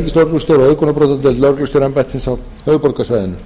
og auðgunarbrotadeildar lögreglustjóraembættisins á höfuðborgarsvæðinu